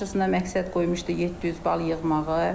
Qarşısına məqsəd qoymuşdu 700 bal yığmağı.